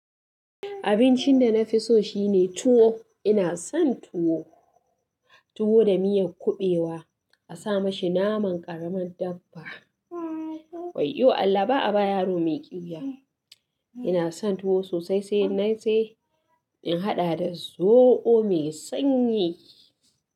Abincin da na fi so shine tuwo. Ina son tuwo, tuwo da miyar kuɓewa a sa mashi naman ƙaramin dabba. Waiyo Allah ba a ba yaro mai ƙyuya. Ina son tuwo sosai sai in nayi sai in haɗa da zoɓo mai sanyi.